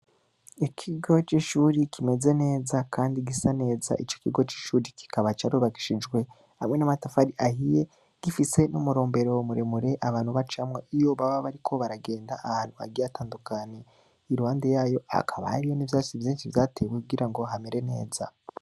Ikigo c’ishuri kimeze neza, kandi gisa neza; ico kigo c’ishuri, kikaba carubakishijwe hamwe n'amatafari ahiye, gifise n’umurombero muremure abantu bacamwo, iyo baba bariko baragenda ahantu hagiye hatandukanye; iruhande yayo, hakaba hariho n’ivyatsi vyinshi vyatewe kugira ngo hamere neza.